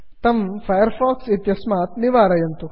तं Firefox इत्यस्मात् निवारयन्तु